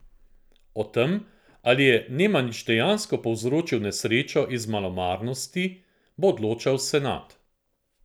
O tem, ali je Nemanič dejansko povzročil nesrečo iz malomarnosti, bo odločal senat.